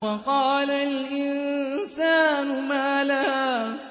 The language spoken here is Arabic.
وَقَالَ الْإِنسَانُ مَا لَهَا